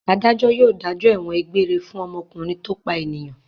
Adájọ́ yóò dájọ́ ẹ̀wọ̀n egbére fún ọmọkùnrin tó pa ènìyàn.